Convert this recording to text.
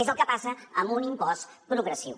és el que passa amb un impost progressiu